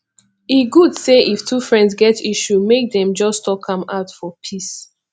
e good say if two friends get issue make dem just talk am out for peace